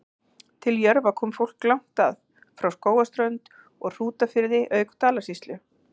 Til Jörfa kom fólk langt að, frá Skógarströnd og Hrútafirði auk Dalasýslu.